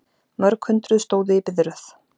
Mörg hundruð stóðu í biðröð